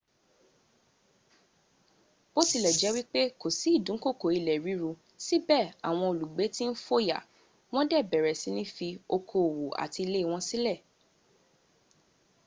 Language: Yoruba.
bótilẹ̀jẹ́ wípé kò sí ìdúnkòkò ilẹ̀ ríru síbẹ̀ àwọn olùgbé tí ń fòyà wón dè bẹ̀rẹ̀ síní fi okoòwò àti ilé wọn sílẹ̀